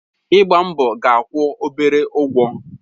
Ịgba mbọ ga-akwụ obere ụgwọ